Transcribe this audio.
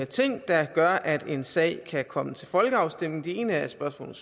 ting der gør er en sag kan komme til folkeafstemning den ene er spørgsmålet